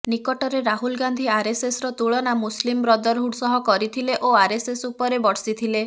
ନିକଟରେ ରାହୁଲ ଗାନ୍ଧି ଆରଏସ୍ଏସ୍ର ତୁଳନା ମୁସଲିମ୍ ବ୍ରଦରହୁଡ଼ ସହ କରିଥିଲେ ଓ ଆରଏସ୍ଏସ୍ ଉପରେ ବର୍ଷିଥିଲେ